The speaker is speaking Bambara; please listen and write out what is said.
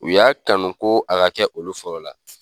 U y'a kanu ko a kɛ olu fɔlɔ la.